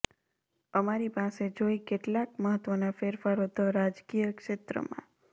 અમારી પાસે જોઇ કેટલાક મહત્વના ફેરફારો ધ રાજકીય ક્ષેત્રમાં